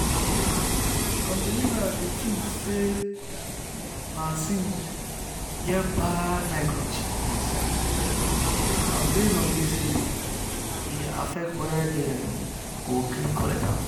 um some believers dey think say vaccine get bad microchip inside and base on this reason e dey affect whether dem go gree collect am.